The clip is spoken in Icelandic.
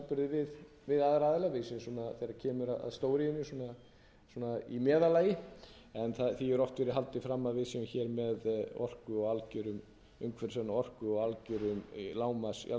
við séum þegar kemur að stóriðjunni í meðallagi en því hefur oft verið haldið fram að við séum með umhverfisvæna orku á algeru lágmarksverði